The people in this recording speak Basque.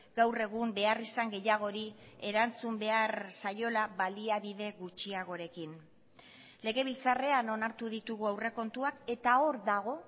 gaur egun beharrizan gehiagori erantzun behar zaiola baliabide gutxiagorekin legebiltzarrean onartu ditugu aurrekontuak eta hor dago